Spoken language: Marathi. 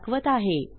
दाखवत आहे